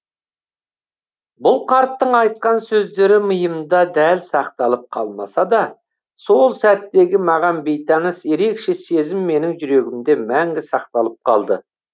бұл қарттың айтқан сөздері миымда дәл сақталып қалмаса да сол сәттегі маған бейтаныс ерекше сезім менің жүрегімде мәңгі сақталып қалды